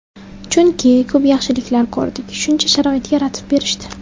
Chunki ko‘p yaxshiliklar ko‘rdik, shuncha sharoit yaratib berishdi.